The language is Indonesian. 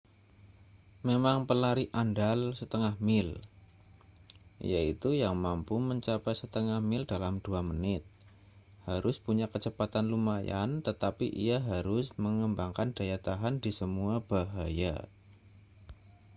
memang pelari andal setengah mil yaitu yang mampu mencapai setengah mil dalam dua menit harus punya kecepatan lumayan tetapi ia harus mengembangkan daya tahan di semua bahaya